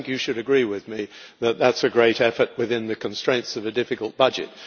You should agree with me that that is a great effort within the constraints of a difficult budget.